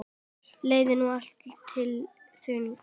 Leið nú allt til þings.